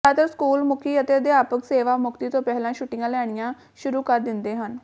ਜ਼ਿਆਦਾਤਰ ਸਕੂਲ ਮੁਖੀ ਅਤੇ ਅਧਿਆਪਕ ਸੇਵਾ ਮੁਕਤੀ ਤੋਂ ਪਹਿਲਾਂ ਛੁੱਟੀਆਂ ਲੈਣੀਆਂ ਸ਼ੁਰੂ ਕਰ ਦਿੰਦੇ ਹਨ